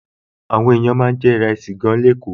Àwọn èèyàn máa ń jẹ ìrẹsì gan-an ní Èkó